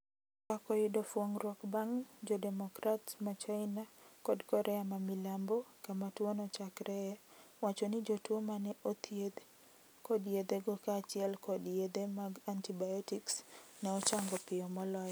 Twak oyudo fuongruok bang jodemocrats ma china kod korea mamilambo kama tuo nochakreye ,wacho ni jotwo ma ne othiedhi kod yedhego kaachiel kod yedhe mag antibiotics ne ochango piyo moloyo.